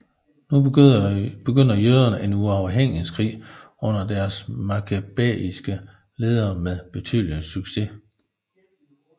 Nu begyndte jøderne en uafhængighedskrig under deres makkabæiske ledere med betydelig succes